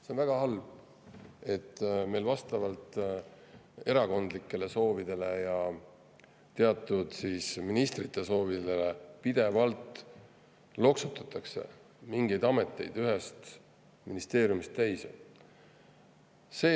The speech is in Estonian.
See on väga halb, et meil vastavalt erakondlikele soovidele ja teatud ministrite soovidele pidevalt loksutatakse mingeid ameteid ühest ministeeriumist teise.